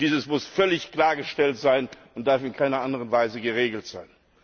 Das muss völlig klargestellt sein und darf in keiner anderen Weise geregelt sein.